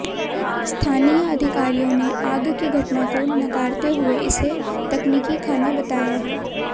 स्थानीय अधिकारियों ने आग की घटना को नकारते हुए इसे तकनीकी खामी बताया है